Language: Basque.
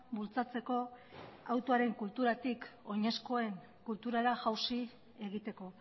bultzatzeko autoaren kulturatik oinezkoen kulturara jausi egiteko